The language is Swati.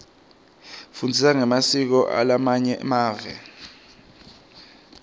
sifundza ngemasiko alamanye mave